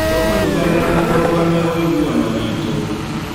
Tũkũnyitanĩra na kũrũgamia ũiguano witũ.